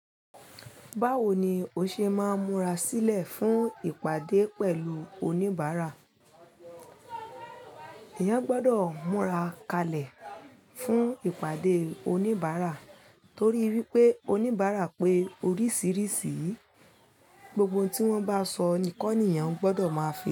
Báwo ni o ṣe máa ń múra sílẹ̀ fún ìpàdé pẹ̀lú oníbàárà? Ẹ̀yàn gbọ́dọ̀ múra kalẹ̀ fún ìpàdé oníbàárà torí wípé oníbàárà pé oríṣiríṣi, gbogbo ohun tí wọ́n bá sọ ni kọ́ ni ẹ̀yàn gbọ́dọ̀ máa fi.